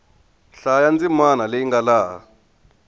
hlaya ndzimana leyi nga laha